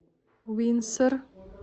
уинсор